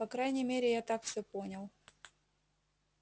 по крайней мере я так все понял